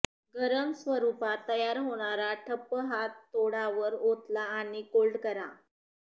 गरम स्वरूपात तयार होणारा ठप्प हा तोडावर ओतला आणि कोल्ड करा